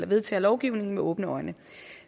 vedtager lovgivningen med åbne øjne